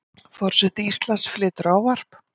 Forseti Íslands flytur ávarp.